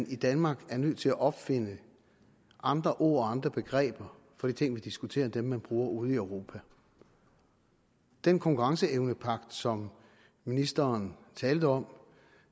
i danmark er nødt til at opfinde andre ord og andre begreber for de ting vi diskuterer end dem man bruger ude i europa den konkurrenceevnepagt som ministeren talte om